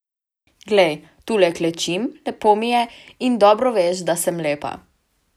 Glej, tule klečim, lepo mi je, in dobro veš, da sem lepa.